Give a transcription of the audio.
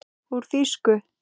Úr þýsku